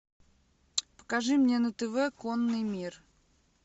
покажи мне на тв конный мир